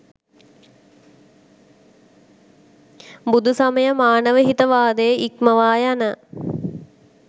බුදුසමය මානවහිතවාදය ඉක්මවා යන